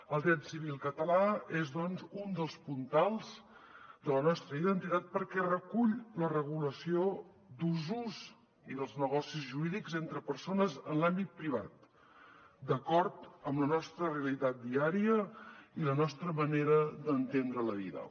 el dret civil català és doncs un dels puntals de la nostra identitat perquè recull la regulació d’usos i dels negocis jurídics entre persones en l’àmbit privat d’acord amb la nostra realitat diària i la nostra manera d’entendre la vida